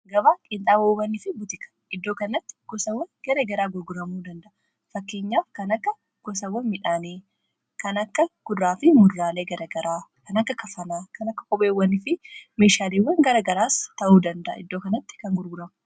gabaa qinxaabowwanii fi butika iddoo kanatti gosawwan gara garaa gurguramuu dandaa'a. fakkeenyaaf kan akka gosawwan midhaanii kan akka kudururaalee fi mudurraalee garagara kan akka kafanaa, kan akka qopheewwani fi meeshaaleewwan gara garaas ta'uu danda'a iddoo kanatti kan gurguramu.